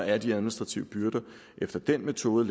at de administrative byrder efter den metode